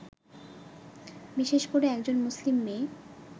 বিশেষ করে একজন মুসলিম মেয়ে